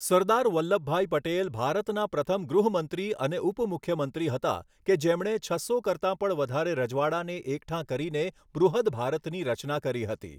સરદાર વલ્લભભાઈ પટેલ ભારતના પ્રથમ ગૃહમંત્રી અને ઉપમુખ્યમંત્રી હતા કે જેમણે છસો કરતાંં પણ વધારે રજવાડાંંને એકઠાં કરીને બૃહદ ભારતની રચના કરી હતી.